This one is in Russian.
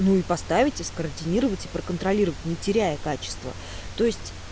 ну и поставите скоординируйте проконтролировать не теряя качества то есть